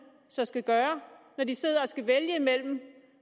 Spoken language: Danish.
så skal gøre når de sidder og skal vælge mellem